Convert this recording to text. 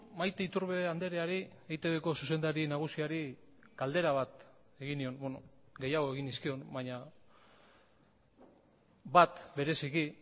maite iturbe andreari eitbko zuzendari nagusiari galdera bat egin nion gehiago egin nizkion baina bat bereziki